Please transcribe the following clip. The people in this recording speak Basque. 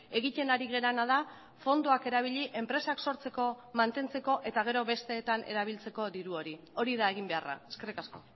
egiten ari garena da fondoak erabili enpresak sortzeko mantentzeko eta gero besteetan erabiltzeko diru hori hori da egin beharra eskerrik asko